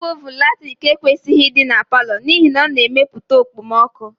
Igwe ovunu latrik ekwesịghị ịdị na palọ n'ihi na ọ na-emepụta okpomọkụ